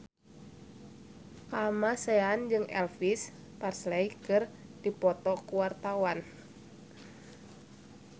Kamasean jeung Elvis Presley keur dipoto ku wartawan